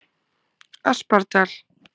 Aspardal